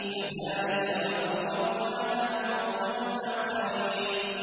كَذَٰلِكَ ۖ وَأَوْرَثْنَاهَا قَوْمًا آخَرِينَ